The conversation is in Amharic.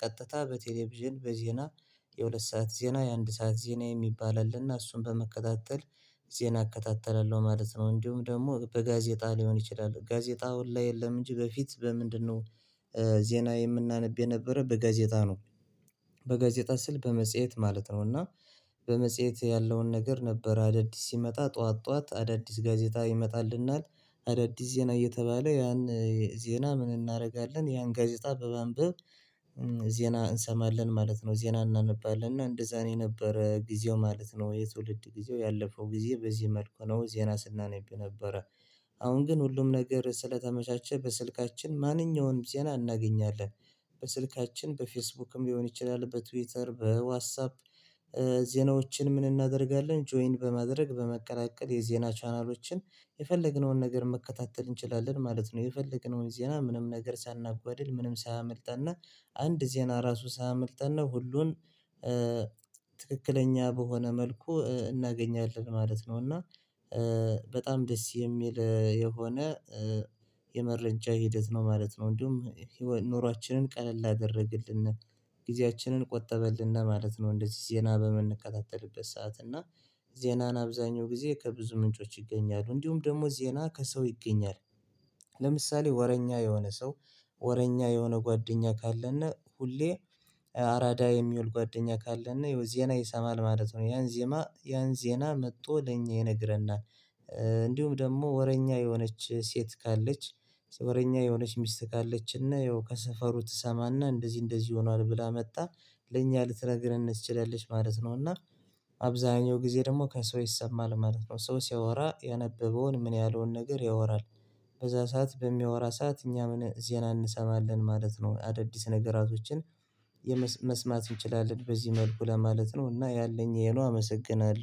ቀጥታ በቴሌቪዥን በዜና የሁለት ሰዓት ዜና የአንድ ሰዓት ዜና የሚባል አለና እሱን በመከታተል ዜና እከታተላለሁ ማለት ነው። እንዲሁም ደግሞ በጋዜጣ ሊሆን ይችላል ጋዜጣ አሁን ላይ የለም። እንጂ በፊት በምንድነው ዜና የምናነብ የነበረ በጋዜጣ ነው። በጋዜጣ ስል በመጽሄት ማለት ነው። እና በመጽሄት ያለውን ነገር ነበር አዳዲስ ሲመጣ ጠዋት ጠዋት አዳዲስ ጋዜጣ ይመጣልናል አዳዲስ ዜና እየተባለ ያን ዜና ምን እናደርጋለን ያን ጋዜጣ በማንበብ ዜና እንሰማለን ማለት ነው። ዜና እናነባለን እና እንደዛ ነው የነበረ ጊዜው ማለት ነው። የትውልድ ጊዜው ያለፈው ጊዜ በዚህ መልኩ ነው ዜና ስናነብ የነበረ አሁን ግን ሁሉም ነገር ስለተመቻቸ በስልካችን ማንኛውንም ዜና እናገኛለን። በስልካችን በፌስቡክም ሊሆን ይችላል በትዊተር በዋስአፕ ዜናዎችን ምን እናደርጋለን ጆይን በማድረግ በመቀላቀል የዜና ቻናሎችን የፈለግነውን ነገር መከታተል እንችላለን ማለት ነው። የፈለግነውን ዜና ምንም ነገር ሳናጓድል ምንም ሳያመልጠንና አንድ ዜና ራሱ ሳያመልጠነ ሁሉን ትክክለኛ በሆነ መልኩ እናገኛለን ማለት ነው። እና በጣም ደስ የሚል የሆነ የመረጃ ሂደት ነው ማለት ነው። እንዲሁም ኑሯችንን ቀለል አደረግልን ጊዜያችንን ቆጠበልን ማለት ነው። እንደዚህ ዜና በምንቀጣጠልበት ሰዓት እና ዜናን አብዛኛው ጊዜ ከብዙ ምንጮች ይገኛሉ እንዲሁም ደግሞ ዜና ከሰው ይገኛል። ለምሳሌ ወረኛ የሆነ ሰው ወረኛ የሆነ ጓደኛ ካለና ሁሌ አራዳ የሚውል ጓደኛ ካለነ እና ይኸው ዜና ይሰማል ማለት ነው። ያን ዜማ ያን ዜና መጥቶ ለኛ ይነግረናል እንዲሁም ደግሞ ወረኛ የሆነች ሴት ካለች ወረኛ የሆነች ሚስት ካለች እና ያው ከሰፈሩ ትሰማና እንደዚህ እንደዚህ ሆኗል ብላ መጣ ለእኛ ልትነግርህን ትችላለች ማለት ነው። እና አብዛኛው ጊዜ ደግሞ ከሰው ይሰማል ማለት ነው። ሰው ሲያወራ ያነበበውን ምን ያህል ነገር ያወራል በዛ ሰዓት በሚያወራ ሰዓት እኛ ምን ዜና እንሰማለን ማለት ነው። አዳዲስ ነገራቶችን መስማት እንችላለን በዚህ መልኩ ለማለት ነው። እና ያለኝ የሄ ነው። አመሰግናለሁ